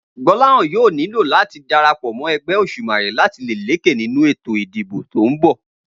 Gbó̩láhàn yóò nílò láti darapò̩ mó̩ e̩gbé̩ Òs̩ùmàrè láti lè lékè nínú ètò ìdìbò tó ń bò̩